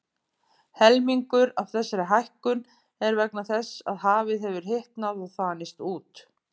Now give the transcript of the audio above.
Helmingur af þessari hækkun er vegna þess að hafið hefur hitnað og þanist út.